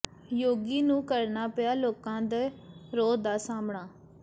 ਯੋਗੀ ਨੂੰ ਕਰਨਾ ਪਿਆ ਲੋਕਾਂ ਦੇ ਰੋਹ ਦਾ ਸਾਹਮਣਾ